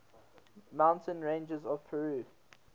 mountain ranges of peru